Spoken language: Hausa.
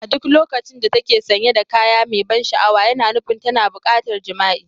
A duk lokacin da ta ke sanye da kaya mai ban sha'awa, yana nufin tana buƙatar jima'i.